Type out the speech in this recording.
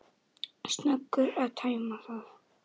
Snöggur að tæma það.